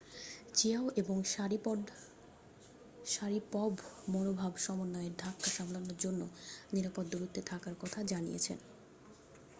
Qiao এবং Sharipov মনোভাব সমন্বয়ের ধাক্কা সামলানোর জন্য নিরাপদ দূরত্বে থাকার কথা জানিয়েছেন